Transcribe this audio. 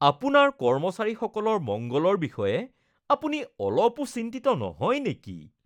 আপোনাৰ কৰ্মচাৰীসকলৰ মংগলৰ বিষয়ে আপুনি অলপো চিন্তিত নহয় নেকি?